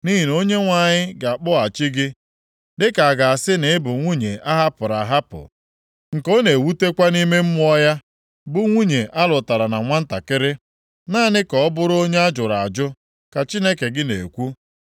Nʼihi na Onyenwe anyị ga-akpọghachi gị dịka a ga-asị na ị bụ nwunye a hapụrụ ahapụ, nke ọ na-ewutakwa nʼime mmụọ ya bụ nwunye alụtara na nwantakịrị, naanị ka ọ bụrụ onye ajụrụ ajụ,” ka Chineke gị na-ekwu.